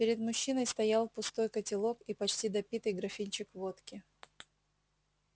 перед мужчиной стоял пустой котелок и почти допитый графинчик водки